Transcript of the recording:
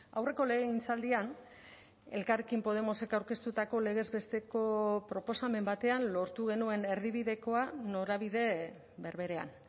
aurreko legegintzaldian elkarrekin podemosek aurkeztutako legez besteko proposamen batean lortu genuen erdibidekoa norabide berberean